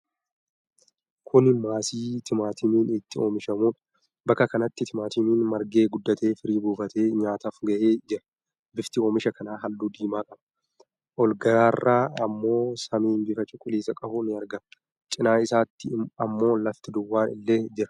kuni maasii timaatimiin itti oomishamudha. Bakka kanatti timaatimiin margee guddatee firii buufatee, nyaataaf gahee jira. Bifti oomisha kanaa halluu diimaa qaba. Olgararraa ammoo samiin bifa cuquliisa qabu ni argama. Cinaa isaatti ammo lafti duwwaan illee jira.